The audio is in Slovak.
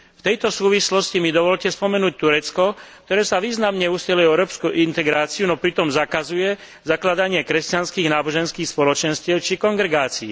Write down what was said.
V tejto súvislosti mi dovoľte spomenúť Turecko, ktoré sa významne usiluje o európsku integráciu, no pritom zakazuje zakladanie kresťanských náboženských spoločenstiev či kongregácií.